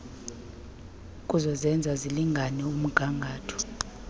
zokuzenza zilingane umgatho